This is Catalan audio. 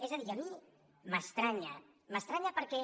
és a dir a mi m’estranya m’estranya perquè